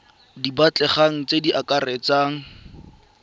di batlegang tse di akaretsang